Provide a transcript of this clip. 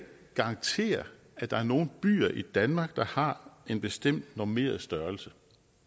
garantere at der er nogle byer i danmark der har en bestemt normeret størrelse